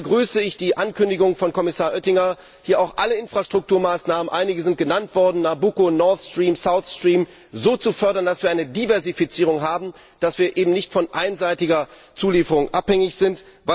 Deswegen begrüße ich die Ankündigung von Kommissar Oettinger, hier auch alle Infrastrukturmaßnahmen einige sind genannt worden, Nabucco, Northstream, Southstream so zu fördern, dass wir eine Diversifizierung haben, dass wir eben nicht von einseitiger Zulieferung abhängig sind.